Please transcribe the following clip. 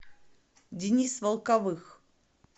денис волковых